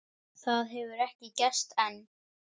Það hefur ekki gerst enn.